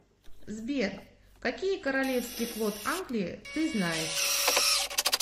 сбер какие королевский флот англии ты знаешь